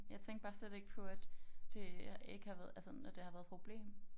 Jeg tænkte bare slet ikke på at det ikke har været at sådan at det har været et problem